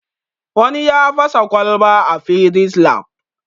Wani ya fasa kwalba a fisis lab